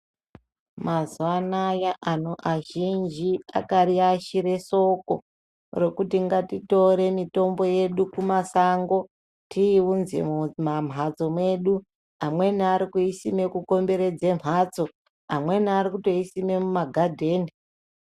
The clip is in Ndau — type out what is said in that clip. Mazuva anaya antu azhinji akariashire soko rokuti ngatitore mitombo yedu kumasango tiiunze mumanhatso mwedu. Amweni arikuisime kukomberedze mhatso, amweni aritokuisime mumagadheni.